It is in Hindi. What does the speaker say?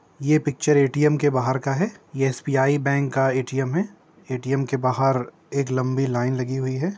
ये पिक्चर ए.टी.एम. के बाहर का है। ये एस.बी.आई. बैंक का ए.टी.एम. है। ए.टी.एम. के बाहर एक लम्बी लाइन लगी है।